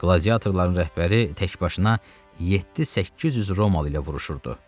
Qladiatorların rəhbəri təkbaşına 7-800 romalı ilə vuruşurdu.